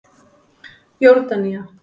Jórdanía